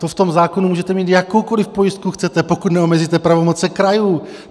To v tom zákonu můžete mít, jakoukoliv pojistku chcete, pokud neomezíte pravomoci krajů.